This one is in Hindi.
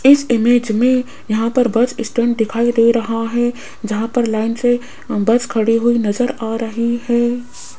इस इमेज में यहां पर बस स्टैंड दिखाई दे रहा है जहां पर लाइन से बस खड़ी हुई नजर आ रही है।